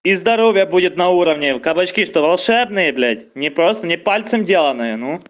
и здоровья будет на уровне кабачки что волшебные блять не просто не пальцем деланные ну